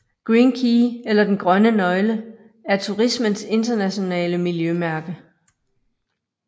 Green Key eller Den Grønne Nøgle er turismens internationale miljømærke